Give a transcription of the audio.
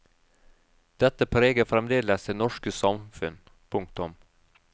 Dette preger fremdeles det norske samfunn. punktum